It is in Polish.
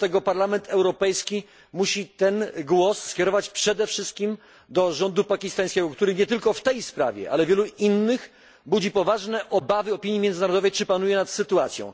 I dlatego Parlament Europejski musi ten głos skierować przede wszystkim do rządu pakistańskiego, który nie tylko w tej sprawie, ale wielu innych, budzi poważne obawy opinii międzynarodowej, czy panuje nad sytuacją.